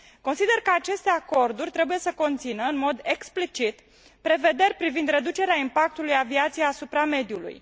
Consider că aceste acorduri trebuie să conțină, în mod explicit, prevederi privind reducerea impactului aviației asupra mediului.